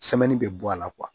bɛ bɔ a la